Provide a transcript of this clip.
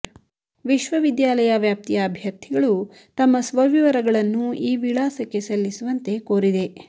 ವಿಶ್ವವಿದ್ಯಾಲಯ ವ್ಯಾಪ್ತಿಯ ಅಭ್ಯರ್ಥಿಗಳು ತಮ್ಮ ಸ್ವವಿವರಗಳನ್ನು ಈ ವಿಳಾಸಕ್ಕೆ ಸಲ್ಲಿಸುವಂತೆ ಕೋರಿದೆ